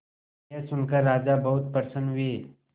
यह सुनकर राजा बहुत प्रसन्न हुए